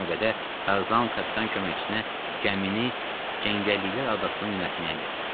İlk növbədə Tarzan kapitan köməkçisinə gəmini cəngəlliklər adasına yönəltməyi əmr etdi.